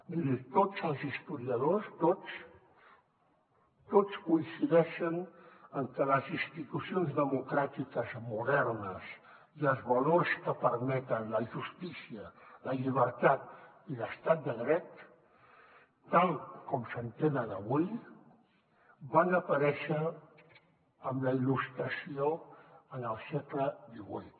miri tots els historiadors tots coincideixen en que les institucions democràtiques modernes i els valors que permeten la justícia la llibertat i l’estat de dret tal com s’entenen avui van aparèixer amb la il·lustració en el segle xviii